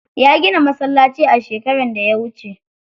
Ya gina masallaci a shekaran da ya wuce.